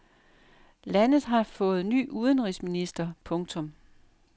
Landet har fået ny udenrigsminister. punktum